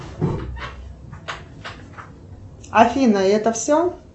афина и это все